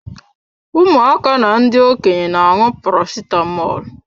Ụmụaka na ndị Okenye na-aṅụ Paracetamọl.